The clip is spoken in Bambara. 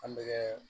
An bɛ kɛ